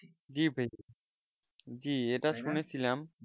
জি ভাই জি এটা শুনেছিলাম